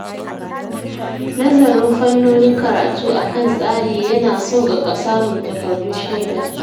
Nazarin fannonin karatu a kan tsari ya na sauƙaƙa samun takardun shaida.